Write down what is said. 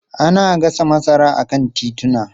Ana gasa masara a kan tituna.